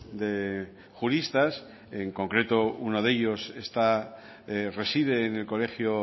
de juristas en concreto uno de ellos está reside en el colegio